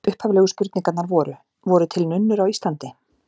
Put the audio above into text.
Upphaflegu spurningarnar voru: Voru til nunnur á Íslandi?